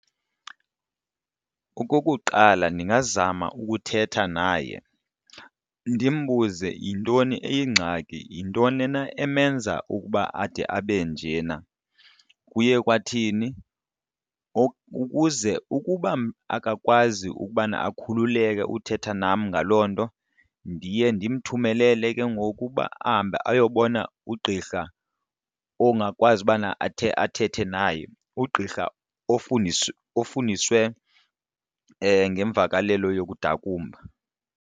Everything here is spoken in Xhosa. Okokuqala, ndingazama ukuthetha naye ndimbuze yintoni eyingxaki, yintoni na emenza uba ade abe njena, kuye kwathini ukuze ukuba akakwazi ukubana akhululeke uthetha nam ngaloo nto ndiye ndimthumelele ke ngoku uba ahambe ayobona ugqirha ongakwazi ubana athe athethe naye, ugqirha ofundiswa ofundiswe ngeemvakalelo nokudakumba.